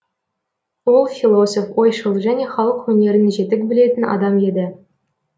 ол философ ойшыл және халық өнерін жетік білетін адам еді